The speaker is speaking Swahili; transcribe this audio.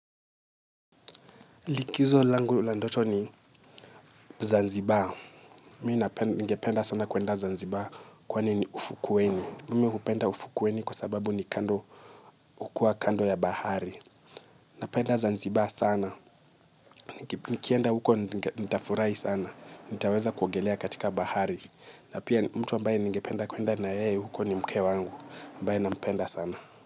Likizo langu la ndoto ni Zanzibar. Mi ningependa sana kuenda Zanzibar kwani ni ufukweni. Mi hupenda ufukweni kwa sababu ni kando hukuwa kando ya bahari. Napenda Zanzibar sana. Nikienda huko nitafurahi sana. Nitaweza kuogelea katika bahari. Na pia mtu ambaye ningependa kwenda na yeye huko ni mke wangu. Ambaye nampenda sana.